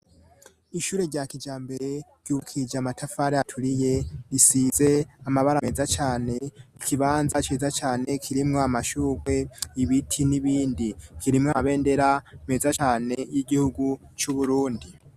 ishure rya kijambere ryubakije amatafari aturiye risize amabara meza cane ikibanza ciza cane kirimwo amashugwe ibiti n'ibindi kirimwo amabendera meza cane y'igihugu c'uburundi